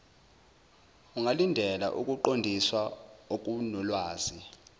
ungalindela ukuqondiswa okunolwazi